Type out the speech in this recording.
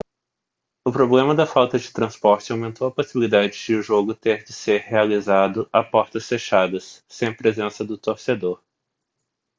o problema da falta de transporte aumentou a possibilidade de o jogo ter de ser realizado a portas fechadas sem a presença do torcedor